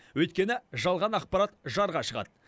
өйткені жалған ақпарат жарға жығады